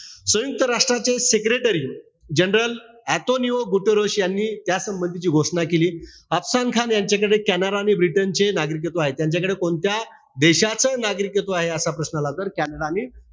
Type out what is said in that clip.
सयुंक्त राष्ट्राचे secretary general Antonio Guterres यांनी त्या संबंधीची घोषणा केली. अफसान खान यांच्याकडे कॅनडा आणि ब्रिटन चे नागरिकत्व आहे. त्यांच्याकडे कोणत्या देशाचं नागरिकत्व आहे. असा प्रश्न आला तर कॅनडा आणि,